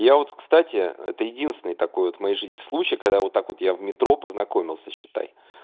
я вот кстати это единственный такой вот моей жизни случай когда вот так вот я в метро познакомился считай